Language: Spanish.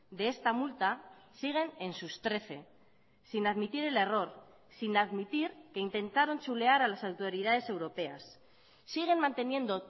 de esta multa siguen en sus trece sin admitir el error sin admitir que intentaron chulear a las autoridades europeas siguen manteniendo